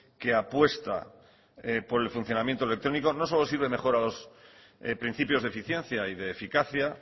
que apuesta por el funcionamiento electrónico no solo sirve mejor a los principios de eficiencia y de eficacia